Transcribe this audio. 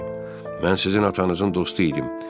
Mən sizin atanızın dostu idim.